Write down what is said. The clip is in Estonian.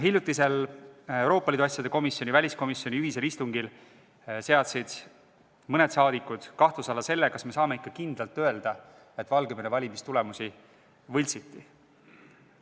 Hiljutisel Euroopa Liidu asjade komisjoni ja väliskomisjoni ühisel istungil seadsid mõned saadikud kahtluse alla, kas me saame ikka kindlalt öelda, et Valgevene valimistulemusi võltsiti.